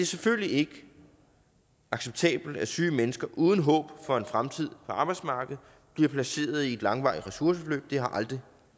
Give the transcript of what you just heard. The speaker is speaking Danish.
selvfølgelig ikke acceptabelt at syge mennesker uden håb for en fremtid på arbejdsmarkedet bliver placeret i et langvarigt ressourceforløb det har aldrig